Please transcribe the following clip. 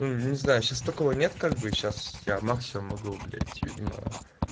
ну не знаю сейчас такого нет как бы сейчас я максимум могу блять видимо